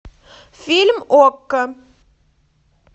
фильм окко